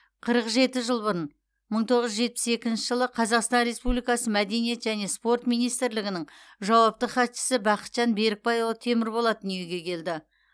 қырық жеті жыл бұрын мың тоғыз жүз жетпіс екінші жылы қазақстан республикасы мәдениет және спорт министрлігінің жауапты хатшысы бақытжан берікбайұлы темірболат дүниеге келді